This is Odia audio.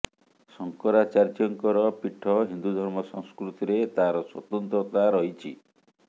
ଶଙ୍କରାଚାର୍ୟ୍ୟଙ୍କର ପୀଠ ହିନ୍ଦୁ ଧର୍ମ ସଂସ୍କୃତିରେ ତାର ସ୍ୱତନ୍ତ୍ରତା ରହିଛି